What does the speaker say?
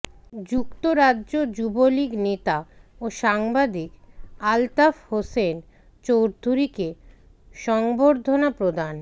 যুক্তরাজ্য যুবলীগ নেতা ও সাংবাদিক আলতাফ হোসেন চৌধুরীকে সংবর্ধনা প্রদান